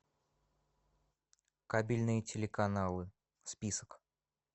кабельные телеканалы список